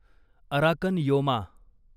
Arakan Yoma